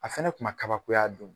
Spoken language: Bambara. A fɛnɛ kun ma kabako ya a don.